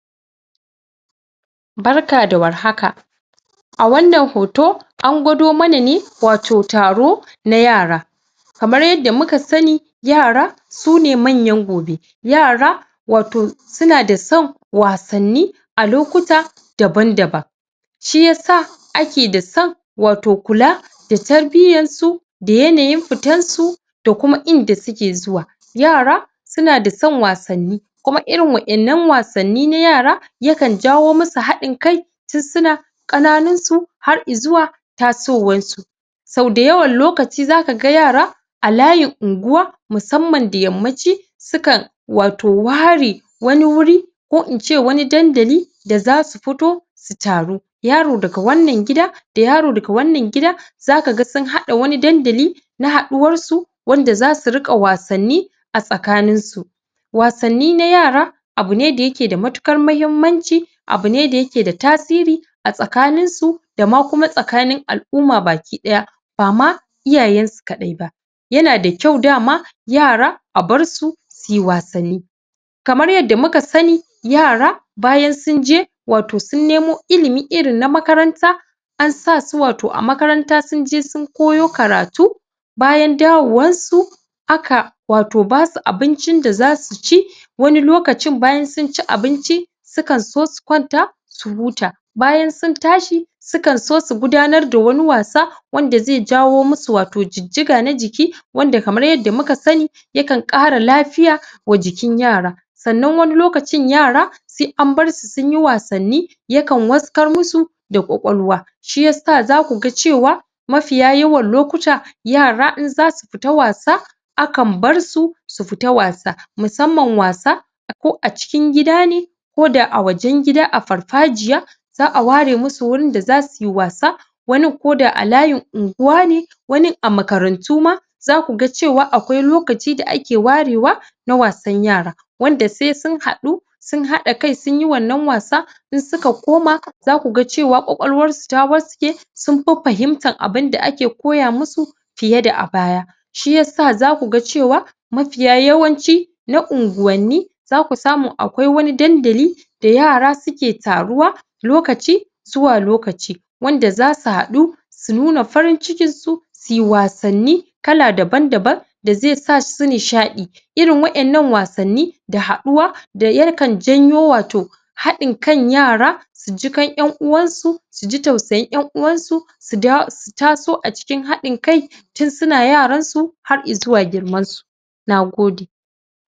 Barka da warhaka a wannan hoto angwado mana ne wato taro na yara kamar yadda muka sani yara sune manyan gobe yara wato suna da son wasan ni a lokuta daban daban shiysa ake da son wato kula da tarbiyarsu da yanayin fitarsu da kuma inda suke zuwa yara suna da son wasan ni kuma irin waƴan nan wasan ni na yara yakan jawo masu hadin kai tun suna ƙananinsu har izuwa tasowar su sau dayawan lokaci zaka yara a layin unguwa musamman da yammaci sukan wato ware wani wuri ko ince wani dandali da zasu futo su taru yaro daga wannan gida da yaro daga wannan gida zaka sun hada wani dandali na haduwar su wanda zasu riƙa wasan ni a tsaƙaninsu wasan ni na yara abune dayake da matuƙar muhimmanci abune dayake da tasiri a tsakanin su dama kuma tsakanin al-umma baki ɗaya bama iyayensu kaɗaiba yana dakƴau dama yara a barsu suyi wassan ni kamar yadda muka sani yara bayan sunje wato sun nemo ilimi irin na makaranta an satu wato a makaranta sunje sun koyo karatu bayan dawowar su aka wato basu abincin da zasu ci wani lokacin bayan sunci abinci sukan so sukwanta su huta bayan sun tashi sukan so sugudanar da wani wasa wanda zai jawo masu wato jijjiga na jiki wanda kamar yadda muka sani yakan ƙara lafiya wa jikin yara sannan wani lokacin yara in abarsu sunyi wasan ni yakan waskar musu da ƙwalƙwaluwa shiyasa zakuga cewa mafiya yawan lokuta yara in zasu fita wasa akan barsu sufita wasa musamman wasa ko acikin gida ne koda a wajen gida a farfajiya za'a ware masu wurin da zasu yi wasa wurin koda a layin unguwa ne wani a makarantu ma za ku ga cewa akwai lokacin da ake warewa na wasan yara wanda se sun haɗu sun haɗa kai sun yi wannan wasa in suka koma zaku ga cewa ƙwalƙwaluwar su ta waske sun fi fahimtan abun da ake koya masu fiye da a baya shiyasa zakuga cewa mafiya yawanci na unguwan ni zaku samu akwai wani dandali da yara suke taruwa lokaci zuwa lokaci wanda zasu haɗu su nuna farin cikin su su wasan ni kala daban-daban da zai sasu nishaɗi irin waɗan nan wasan ni da haɗuwa yakan jayo wato haɗin kan yara sujiƙan ƴan uwansu suji tausayin ƴan uwansu su taso acikin haɗin kai tun suna yaran su har izuwa girman su nagode